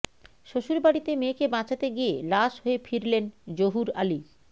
শ্বশুরবাড়িতে মেয়েকে বাঁচাতে গিয়ে লাশ হয়ে ফিরলেন জহুর আলী